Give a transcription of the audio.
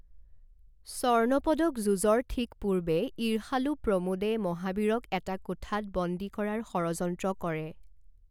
স্বৰ্ণ পদক যুঁজৰ ঠিক পূৰ্বে, ঈৰ্ষালু প্ৰমোদে মহাবীৰক এটা কোঠাত বন্দী কৰাৰ ষড়যন্ত্ৰ কৰে।